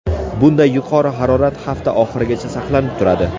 Bunday yuqori harorat hafta oxirigacha saqlanib turadi.